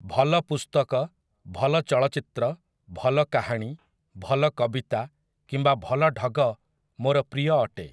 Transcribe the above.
ଭଲ ପୁସ୍ତକ, ଭଲ ଚଳଚ୍ଚିତ୍ର, ଭଲ କାହାଣୀ, ଭଲ କବିତା କିମ୍ବା ଭଲ ଢଗ ମୋର ପ୍ରିୟ ଅଟେ ।